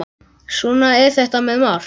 Svona er þetta með margt.